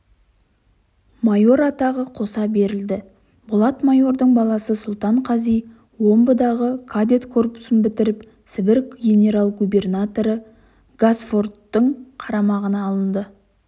майор атағы қоса берілді болат майордың баласы сұлтан қази омбыдағы кадет корпусын бітіріп сібір генерал-губернаторы гасфорттың қарамағына алынды